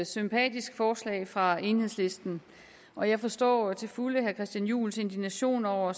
sympatisk forslag fra enhedslisten og jeg forstår til fulde herre christian juhls indignation over